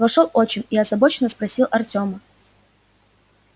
вошёл отчим и озабоченно спросил артёма